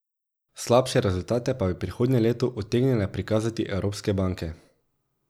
Slabše rezultate pa bi prihodnje leto utegnile prikazati evropske banke.